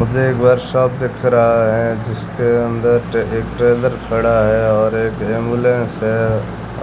मुझे एक बार साफ दिख रहा है जिसके अंदर टे एक ट्रेलर खड़ा है और एक एम्बुलेंस है